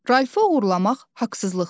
Ralfı oğurlamaq haqsızlıqdır.